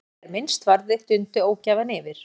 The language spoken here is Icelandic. En þegar minnst varði dundi ógæfan yfir.